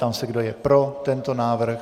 Ptám se, kdo je pro tento návrh.